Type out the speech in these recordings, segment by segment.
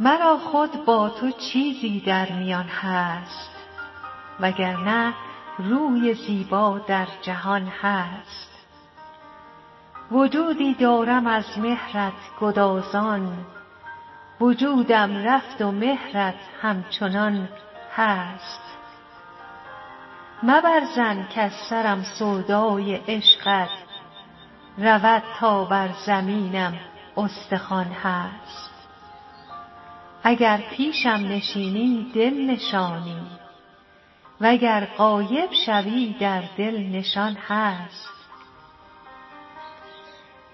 مرا خود با تو چیزی در میان هست و گر نه روی زیبا در جهان هست وجودی دارم از مهرت گدازان وجودم رفت و مهرت همچنان هست مبر ظن کز سرم سودای عشقت رود تا بر زمینم استخوان هست اگر پیشم نشینی دل نشانی و گر غایب شوی در دل نشان هست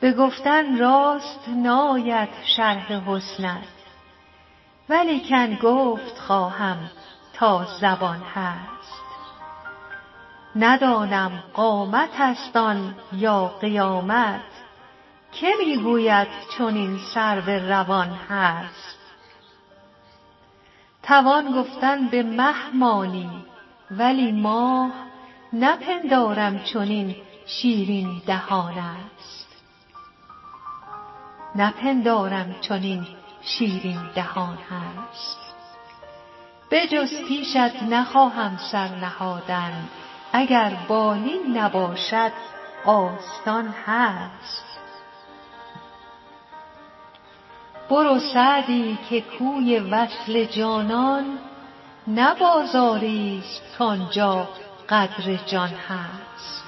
به گفتن راست ناید شرح حسنت ولیکن گفت خواهم تا زبان هست ندانم قامتست آن یا قیامت که می گوید چنین سرو روان هست توان گفتن به مه مانی ولی ماه نپندارم چنین شیرین دهان هست بجز پیشت نخواهم سر نهادن اگر بالین نباشد آستان هست برو سعدی که کوی وصل جانان نه بازاریست کان جا قدر جان هست